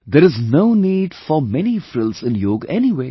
There is no need for many frills in yoga anyway